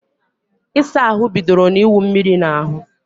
Ịsa ahụ bidoro na iwu mmírí na ahú